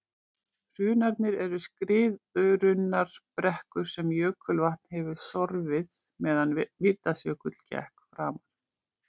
Hrunarnir eru skriðurunnar brekkur sem jökulvatn hefur sorfið meðan Mýrdalsjökull gekk framar.